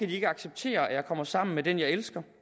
de ikke acceptere at jeg kommer sammen med den jeg elsker